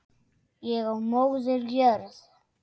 Ég og Móðir jörð.